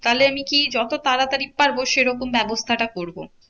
তাহলে আমি কি? যত তাড়াতাড়ি পারবো সেরকম ব্যবস্থাটা করবো।